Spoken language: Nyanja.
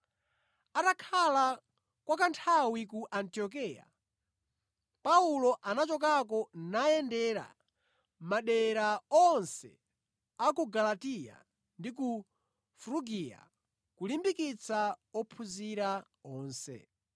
Atakhala kwa kanthawi ku Antiokeya, Paulo anachokako nayendera madera onse a ku Galatiya ndi ku Frugiya kulimbikitsa ophunzira onse.